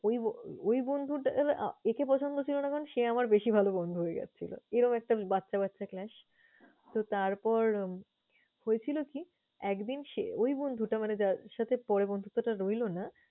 ওই ওই বন্ধুটার আহ একে পছন্দ ছিল না কারণ সে আমার বেশি ভালো বন্ধু হয়ে যাচ্ছিল। এরকম একটা বাচ্চা বাচ্চা clash । তো তারপর হয়েছিল কি, একদিন সে~ ওই বন্ধুটা মানে যার সাথে পরে বন্ধুত্বটা রইলো না